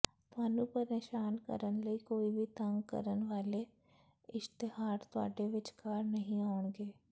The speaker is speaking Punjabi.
ਤੁਹਾਨੂੰ ਪਰੇਸ਼ਾਨ ਕਰਨ ਲਈ ਕੋਈ ਵੀ ਤੰਗ ਕਰਨ ਵਾਲੇ ਇਸ਼ਤਿਹਾਰ ਤੁਹਾਡੇ ਵਿਚਕਾਰ ਨਹੀਂ ਆਉਣਗੇ